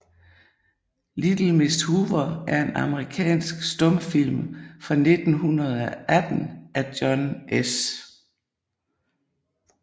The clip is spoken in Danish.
Little Miss Hoover er en amerikansk stumfilm fra 1918 af John S